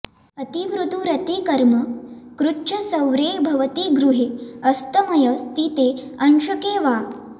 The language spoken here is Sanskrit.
अतिमृदु रति कर्म कृच्च सौर्ये भवति गृहे अस्तमय स्थिते अंशके वा